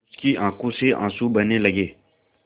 उसकी आँखों से आँसू बहने लगे